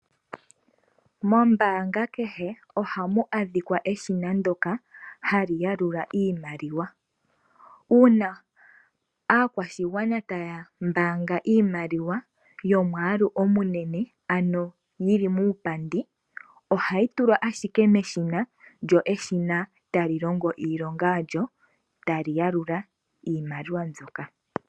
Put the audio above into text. Mombaanga kehe ohamu adhika eshina ndyoka hali yalula iimaliwa . Uuna aakwashigwana taya mbaanga iimaliwa yomwaalu omunene, ano yili muupandi, ohayi tulwa ashike meshina, lyo eshina tali longo iilonga yalyo . Tali yalula iimaliwa mbyoka.